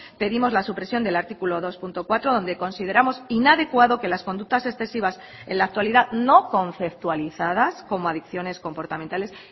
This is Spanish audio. pedimos la supresión del artículo dos punto cuatro donde consideramos inadecuado que las conductas excesivas en la actualidad no conceptualizadas como adicciones comportamentales